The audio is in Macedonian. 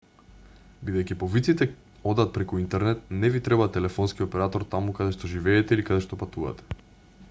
бидејќи повиците одат преку интернет не ви треба телефонски оператор таму каде што живеете или каде што патувате